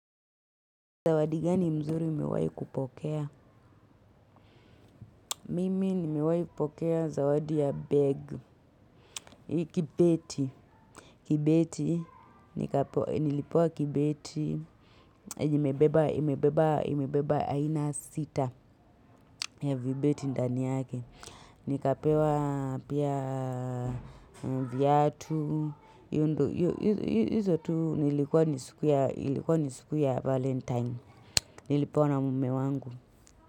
Zawadi gani mzuri umewai kupokea. Mimi, nimewai kupokea zawadi ya begi. Kibeti. Kibeti. Nilipewa kibeti. Imebeba aina sita ya vibeti ndani yake. Nikapewa pia viatu. Izo tu nilikuwa ni siku ya valentine. Nilipewa na mume wangu.